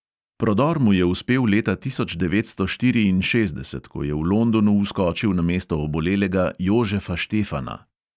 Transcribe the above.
Prodor mu je uspel leta tisoč devetsto štiriinšestdeset, ko je v londonu vskočil namesto obolelega jožefa štefana.